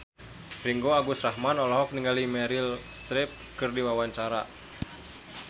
Ringgo Agus Rahman olohok ningali Meryl Streep keur diwawancara